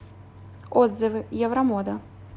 отзывы евромода